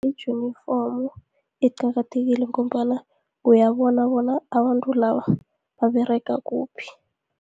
I-junifomu iqakathekile, ngombana uyabona bona abantu laba baberega kuphi.